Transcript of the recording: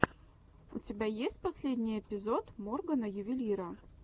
у тебя есть последний эпизод моргана ювелира